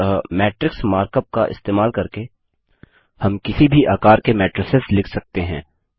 अतः matrix mark up का इस्तेमाल करके हम किसी भी आकार के मैट्रिसेस लिख सकते हैं